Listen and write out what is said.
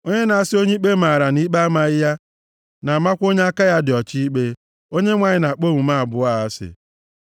Onye na-asị onye ikpe maara na ikpe amaghị ya na-amakwa onye aka ya dị ọcha ikpe, Onyenwe anyị na-akpọ omume abụọ a asị.